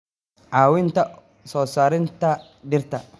caawinta soo saarista dhirta.